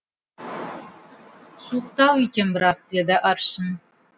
суықтау екен бірақ деді аршын